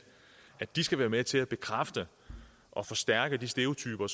de skal være med til at bekræfte og forstærke de stereotyper